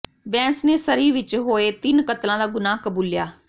ਬੈਂਸ ਨੇ ਸਰੀ ਵਿੱਚ ਹੋਏ ਤਿੰਨ ਕਤਲਾਂ ਦਾ ਗੁਨਾਹ ਕਬੂਲਿਆ